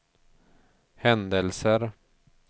händelser